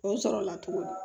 O sɔrɔla tuguni